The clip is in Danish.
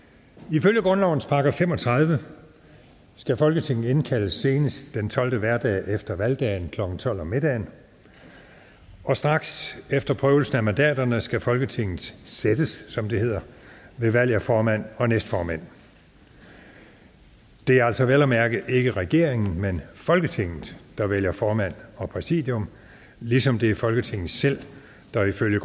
ifølge grundlovens § fem og tredive skal folketinget indkaldes senest den tolvte hverdag efter valgdagen klokken tolv middag og straks efter prøvelsen af mandaterne skal folketinget sættes som det hedder ved valg af formand og næstformænd det er altså vel at mærke ikke regeringen men folketinget selv der vælger formand og præsidium ligesom det er folketinget selv der ifølge